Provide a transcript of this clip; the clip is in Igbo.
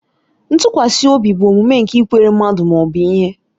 Ntụkwasị obi bụ omume nke ikwere mmadụ ma ọ bụ ihe.